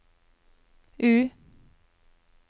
U